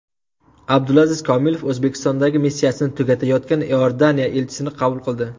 Abdulaziz Komilov O‘zbekistondagi missiyasini tugatayotgan Iordaniya elchisini qabul qildi.